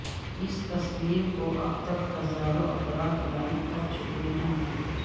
اس تصویر کو اب تک ہزاروں افراد لائیک کر چکے ہیں